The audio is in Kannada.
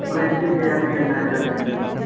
ನಮ್ಮ friends ಗೆ ಯಾರಿಗೆಲ್ಲಾ ಕರ್ದಿದ್ದಿ?